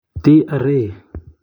TRA.